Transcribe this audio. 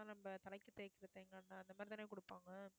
நம்ம தலைக்கு தேய்க்கிற தேங்காய் எண்ணெய் அந்த மாதிரி தானே கொடுப்பாங்க